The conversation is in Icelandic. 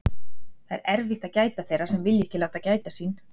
Það er erfitt að gæta þeirra sem vilja ekki láta gæta sín.